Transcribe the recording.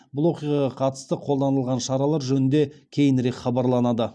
бұл оқиғаға қатысты қолданылған шаралар жөнінде кейінірек хабарланады